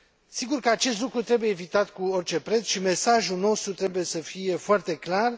Sigur că acest lucru trebuie evitat cu orice preț și mesajul nostru trebuie să fie foarte clar.